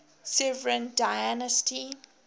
severan dynasty